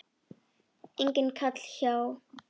Enginn kall hjá